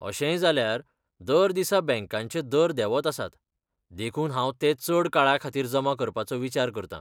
अशेंय जाल्यार, दर दिसा बँकांचे दर देंवत आसात, देखून हांव ते चड काळा खातीर जमा करपाचो विचार करतां.